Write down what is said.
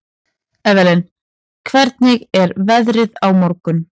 Evelyn, hvernig er veðrið á morgun?